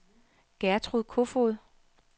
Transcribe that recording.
Gertrud Kofoed